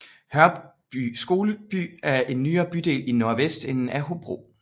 Hørby Skoleby er en nyere bydel i nordvestenden af Hobro